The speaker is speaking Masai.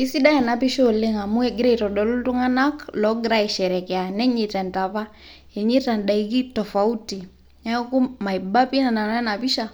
Eisidai ena pisha oleng' amu kegira aitodolu iltung'ana loigira aisherekea nenyaita indaiki tofauti. Neaku maiba pii nanu ena pisha